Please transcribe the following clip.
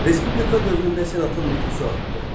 Respublika dövründə senatın nüfuzu artdı.